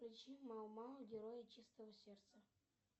включи мао мао герои чистого сердца